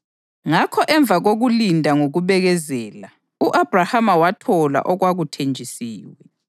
Ngakho emva kokulinda ngokubekezela, u-Abhrahama wathola okwakuthenjisiwe.